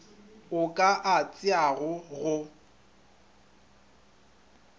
o ka a tšeago go